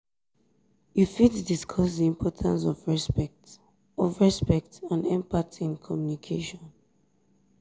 you fit discuss di importance of respect of respect and empathy in communication.